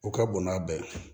O ka bon n'a bɛɛ ye